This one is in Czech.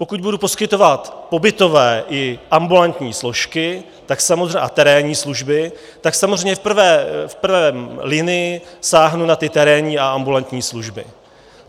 Pokud budu poskytovat pobytové i ambulantní složky a terénní služby, tak samozřejmě v prvé linii sáhnu na ty terénní a ambulantní služby.